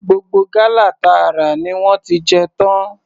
Gbogbo gálà ta rà ni wọ́n ti jẹ tán.